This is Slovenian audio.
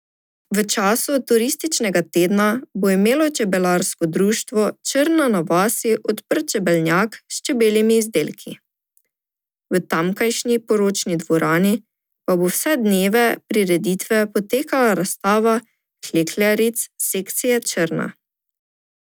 V času turističnega tedna bo imelo Čebelarsko društvo Črna na vasi odprt čebelnjak s čebeljimi izdelki, v tamkajšnji poročni dvorani pa bo vse dneve prireditve potekala razstava klekljaric sekcije Črna.